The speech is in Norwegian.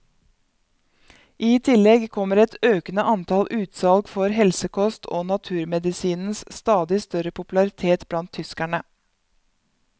I tillegg kommer et økende antall utsalg for helsekost og naturmedisinens stadig større popularitet blant tyskerne.